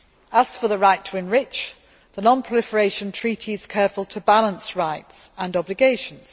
As for the right to enrich', the Non Proliferation Treaty is careful to balance rights and obligations.